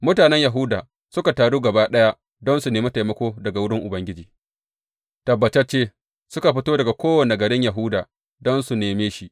Mutanen Yahuda suka taru gaba ɗaya don su nemi taimako daga wurin Ubangiji, tabbatacce suka fito daga kowane garin Yahuda don su neme shi.